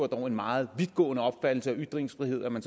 dog var en meget vidtgående opfattelse af ytringsfrihed at man